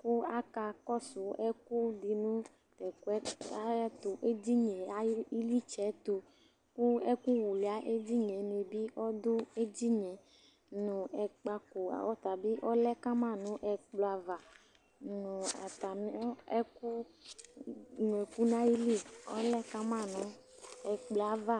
,ƙʋ aƙa ƙɔsʋ ɛƙʋ ɖɩ nʋ ɩlɩtsɛ tʋ ;ɛƙʋ lʋlʋɩa eɖinie nɩ bɩ ɔɖʋ eɖinieNʋ ɛƙpaƙo ɔlɛ kama nʋ ɛƙplɔ ava; nʋ atamɩ ɛƙʋ nʋ ɛƙʋ ɔta bɩ lɛ ka ma nʋ ɛƙplɔ ava